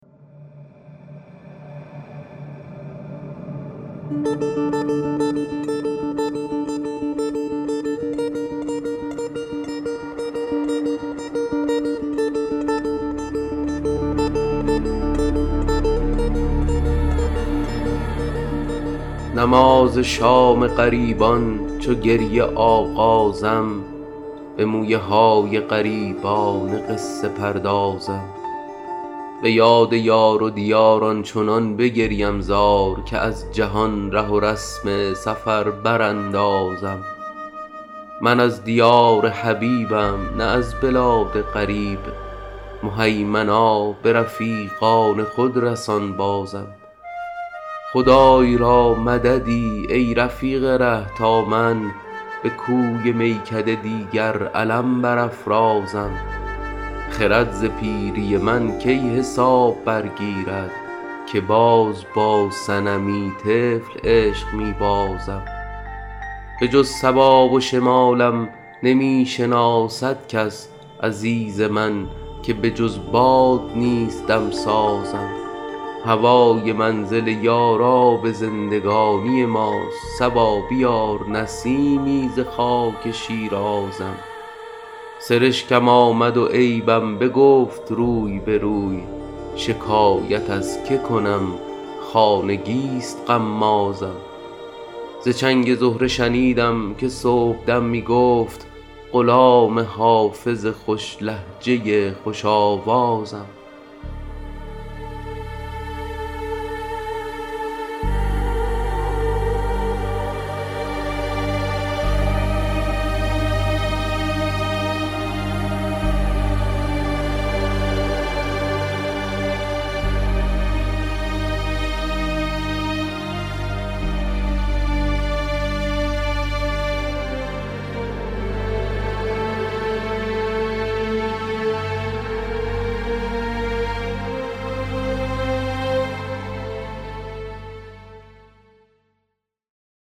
نماز شام غریبان چو گریه آغازم به مویه های غریبانه قصه پردازم به یاد یار و دیار آنچنان بگریم زار که از جهان ره و رسم سفر براندازم من از دیار حبیبم نه از بلاد غریب مهیمنا به رفیقان خود رسان بازم خدای را مددی ای رفیق ره تا من به کوی میکده دیگر علم برافرازم خرد ز پیری من کی حساب برگیرد که باز با صنمی طفل عشق می بازم بجز صبا و شمالم نمی شناسد کس عزیز من که بجز باد نیست دم سازم هوای منزل یار آب زندگانی ماست صبا بیار نسیمی ز خاک شیرازم سرشکم آمد و عیبم بگفت روی به روی شکایت از که کنم خانگی ست غمازم ز چنگ زهره شنیدم که صبح دم می گفت غلام حافظ خوش لهجه خوش آوازم